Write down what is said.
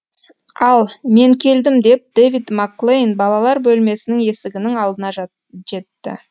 ал мен келдім деп дэвид макклейн балалар бөлмесінің есігінің алдына жетті